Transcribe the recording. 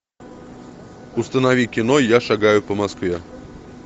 установи кино я шагаю по москве